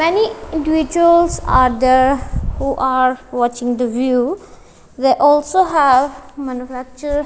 many individuals are there who are watching the view they also have manufacture --